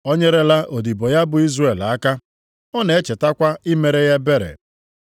O nyerela odibo ya bụ Izrel aka, ọ na-echetakwa imere ya ebere.